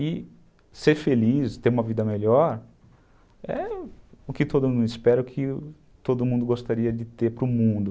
E ser feliz, ter uma vida melhor, é o que todo mundo espera, o que todo mundo gostaria de ter para o mundo.